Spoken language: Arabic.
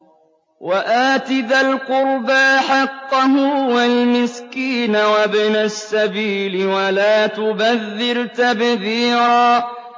وَآتِ ذَا الْقُرْبَىٰ حَقَّهُ وَالْمِسْكِينَ وَابْنَ السَّبِيلِ وَلَا تُبَذِّرْ تَبْذِيرًا